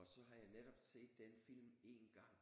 Og så har jeg netop set den film én gang